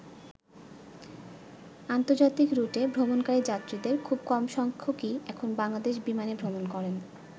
আন্তর্জাতিক রুটে ভ্রমণকারী যাত্রীদের খুব কম সংখ্যকই এখন বাংলাদেশ বিমানে ভ্রমণ করেন।